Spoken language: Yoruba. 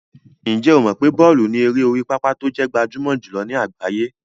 Ǹjẹ́ o mọ̀ pé bọ́ọ̀lù ni eré orí pápá tó jẹ́ gbajúmọ̀ jùlọ ní àgbáyé?